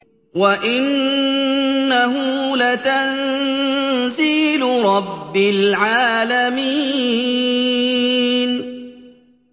وَإِنَّهُ لَتَنزِيلُ رَبِّ الْعَالَمِينَ